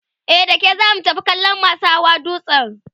e dake zamu tafi kallan masu Hawa dutsen